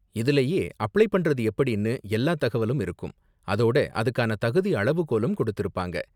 இதுலயே அப்ளை பண்றது எப்படின்னு எல்லா தகவலும் இருக்கும், அதோட அதுக்கான தகுதி அளவுகோலும் கொடுத்திருப்பாங்க.